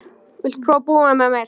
Viltu prófa að búa með mér.